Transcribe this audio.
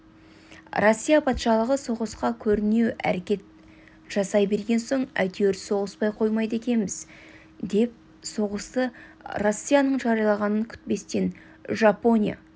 россия патшалығы соғысқа көрінеу әрекет жасай берген соң әйтеуір соғыспай қоймайды екенбіз деп соғысты россияның жариялағанын күтпестен жапония